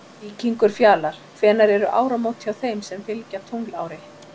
Víkingur Fjalar Hvenær eru áramót hjá þeim sem fylgja tunglári?